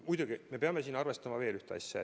Muidugi me peame arvestama veel ühte asja.